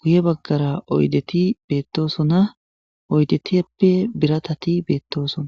guye baggara oydeti beettosona oydeti eppe biratati beettoosona